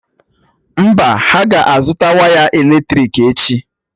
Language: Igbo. Mba, ha ga-azụta waya èlétrị̀k echi.